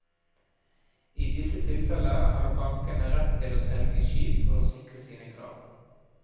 I disse tilfeller har bankene rett til å selge skip for å sikre sine krav.